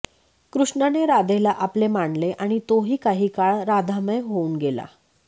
कृष्णाने राधेला आपले मानले आणि तोही काही काळ राधामय होऊन गेला